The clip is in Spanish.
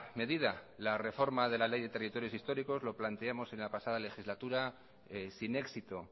medida la reforma de la ley de territorios históricos lo planteamos en la pasada legislatura sin éxito